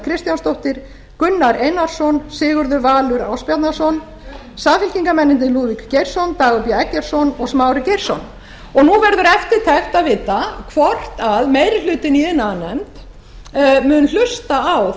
kristjánsdóttir gunnar einarsson sigurður valur ásbjarnarson samfylkingarmennirnir lúðvík geirsson dagur b eggertsson og smári geirsson nú verður eftirtekt að vita hvort meiri hlutinn í iðnaðarnefnd muni hlusta á